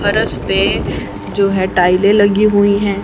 फरश पे जो है टायले लगी हुई हैं।